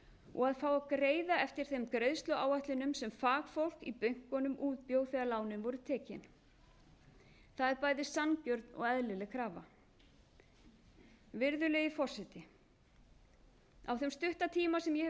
og að fá að greiða eftir þeim greiðsluáætlunum sem fagfólk í bönkunum útbjó þegar lánin voru tekin það er bæði sanngjörn og eðlileg krafa virðulegi forseti á þeim stutta tíma sem ég hef setið